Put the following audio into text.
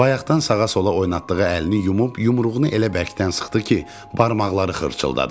Bayaqdan sağa-sola oynatdığı əlini yumub, yumruğunu elə bərkdən sıxdı ki, barmaqları xırçıldatdı.